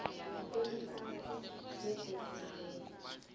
eliphasi begodu ngeze